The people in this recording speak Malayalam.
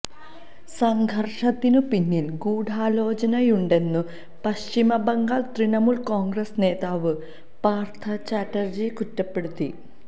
സംഘര്ഷത്തിനു പിന്നില് ഗൂഢാലോചനയുണ്ടെന്നു പശ്ചിമബംഗാള് തൃണമൂല് കോണ്ഗ്രസ് നേതാവ് പാര്ത്ഥ ചാറ്റര്ജി കുറ്റപ്പെടുത്തി